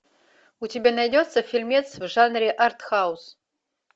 у тебя найдется фильмец в жанре артхаус